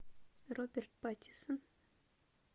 роберт паттинсон